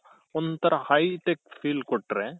ಒಂತರ hi tech feel ಕೊಟ್ರೆ